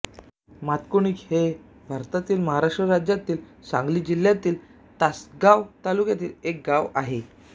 मातकुणकी हे भारतातील महाराष्ट्र राज्यातील सांगली जिल्ह्यातील तासगांव तालुक्यातील एक गाव आहे